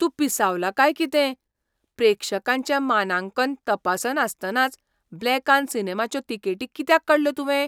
तूं पिसावला काय कितें? प्रेक्षकांचें मानांकन तपासनासतनाच ब्लॅकान सिनेमाच्यो तिकेटी कित्याक काडल्यो तुवें?